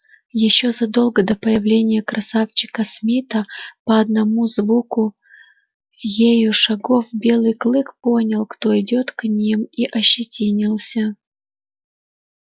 ещё задолго до появления красавчика смита по одному звуку ею шагов белый клык понял кто идёт к ним и ощетинился